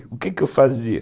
E o quê que eu fazia?